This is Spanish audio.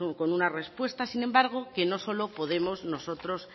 con una respuesta sin embargo que no solo podemos nosotros